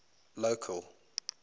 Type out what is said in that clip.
local